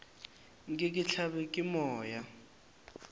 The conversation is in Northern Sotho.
nke ke hlabje ke moya